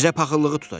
Bizə paxıllığı tutacaq.